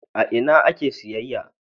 A ina ake siyayya?